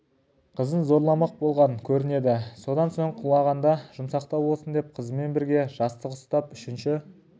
қызын зорламақ болған көрінеді содан соң құлағанда жұмсақтау болсын деп қызымен бірге жастық ұстап үшінші